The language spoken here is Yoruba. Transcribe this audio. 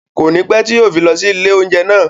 Kònípẹ́ tí yìí ó fi lọ sí ilé oúnjẹ náà.